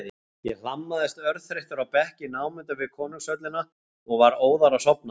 Ég hlammaðist örþreyttur á bekk í námunda við konungshöllina og var óðara sofnaður.